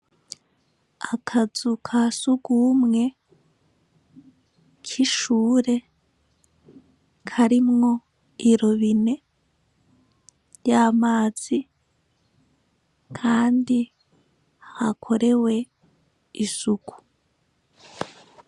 Akazu ka sugumwe k'ishure karimwo irobine ry'amazi kandi hakorewe isuku.